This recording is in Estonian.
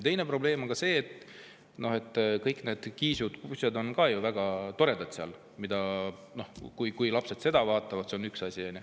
Teine probleem on see, et kõik need kiisud ja kutsud on ka ju väga toredad ja kui lapsed neid vaatavad, siis see on üks asi.